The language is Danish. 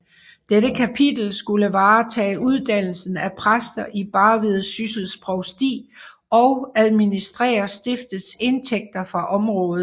Dette kapitel skulle varetage uddannelsen af præster i Barvid Syssels Provsti og administrere stiftets indtægter fra området